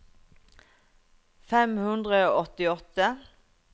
fem hundre og åttiåtte